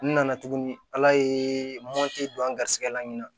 N nana tuguni ala ye mɔti don an ga garisɛgɛ la ɲini na